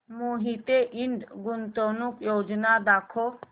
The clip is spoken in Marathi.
मोहिते इंड गुंतवणूक योजना दाखव